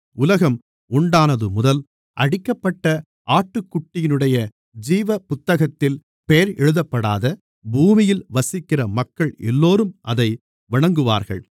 உலகம் உண்டானதுமுதல் அடிக்கப்பட்ட ஆட்டுக்குட்டியினுடைய ஜீவபுத்தகத்தில் பெயர் எழுதப்படாத பூமியில் வசிக்கின்ற மக்கள் எல்லோரும் அதை வணங்குவார்கள்